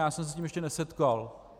Já jsem se s tím ještě nesetkal.